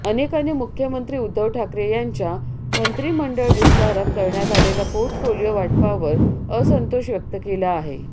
अनेकांनी मुख्यमंत्री उद्धव ठाकरे यांच्या मंत्रिमंडळ विस्तारात करण्यात आलेल्या पोर्टफोलिओ वाटपावर असंतोष व्यक्त केला आहे